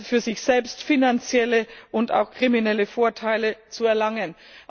für sich selbst finanzielle und auch kriminelle Vorteile zu erlangen.